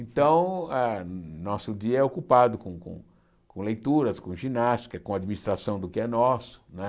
Então, ah nosso dia é ocupado com com com leituras, com ginástica, com administração do que é nosso. Né